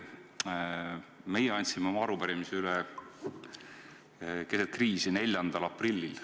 Me andsime oma arupärimise üle keset kriisi, 4. aprillil.